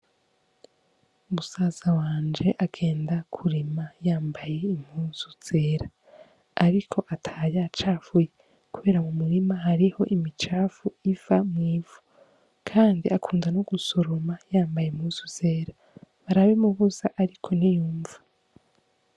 Musaza wanje agenda kurima yambaye impuzu zera ariko ataha yacafuye kubera mu murima hariho imicafu iva mw'ivu kandi akunda no gusoroma yambaye impuzu zera barabimubuza ariko ntiyunva.